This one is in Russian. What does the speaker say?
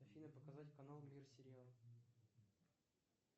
афина показать канал мир сериалов